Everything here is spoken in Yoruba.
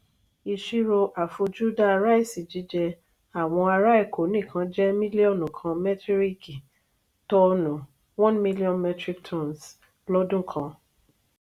ìṣirò afojuda raisi jíjẹ àwọn ará eko nikan jẹ mílíọ̀nù kan metiriki toonu (1 million metric tonnes) l'ọdun kàn.